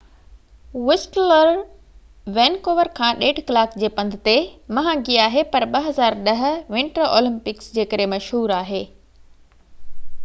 Whistler Vancouver کان 1.5 ڪلاڪ جي پنڌ تي مهانگي آهي پر 2010 ونٽر اولمپڪس جي ڪري مشهور آهي